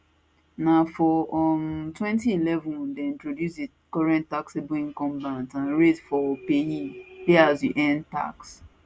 na for um 2011 dem introduce di current taxable income bands and rates for paye pay as you earn tax